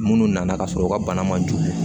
Minnu nana ka sɔrɔ u ka bana man jugu